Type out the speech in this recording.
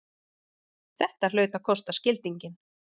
Þetta hlaut að kosta skildinginn!